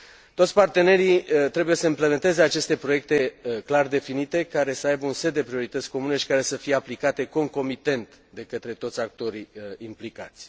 Toți partenerii trebuie să implementeze aceste proiecte clar definite, care să aibă un set de priorități comune și care să fie aplicate concomitent de către toți actorii implicați.